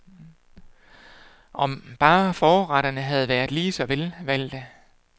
Om bare forretterne havde været lige så velvalgte.